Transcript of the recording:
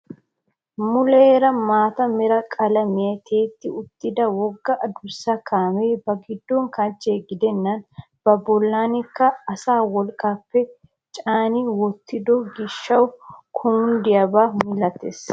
Muleera maata mera qalamiyaan tiyetti uttida wogga adussa kaamee ba giddo kanchche gidennan ba bollanikka asaa wolqqappe caani wottido giishshawu kunddiyaaba malatees.